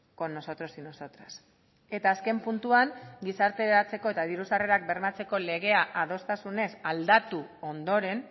con nosotros y nosotras eta azken puntuan gizarteratzeko eta diru sarrerak bermatzeko legea adostasunez aldatu ondoren